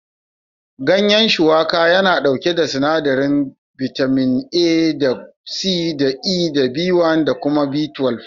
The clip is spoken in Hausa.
Gayan Shuwaka/Bitalib yana ɗauke da sinadarin bitamin A da C da E da B1 da kuma B12.